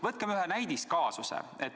Võtame ühe näidiskaasuse.